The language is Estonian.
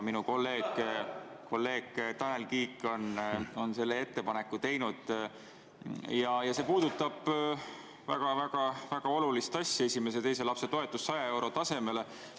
Minu kolleeg Tanel Kiik on teinud ettepaneku ja see puudutab väga-väga olulist asja: esimese ja teise lapse toetus 100 euro tasemele.